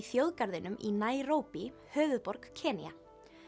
þjóðgarðinum í höfuðborg Kenía